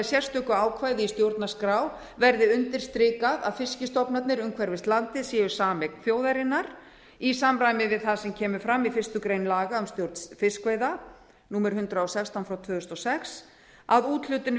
sérstöku ákvæði í stjórnarskrá verði undirstrikað að fiskstofnarnir umhverfis landið séu sameign þjóðarinnar í samræmi við það sem kemur fram í fyrstu grein laga um stjórn fiskveiða númer hundrað og sextán tvö þúsund og sex að úthlutun